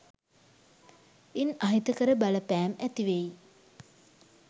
ඉන් අහිතකර බලපෑම් ඇති වෙයි.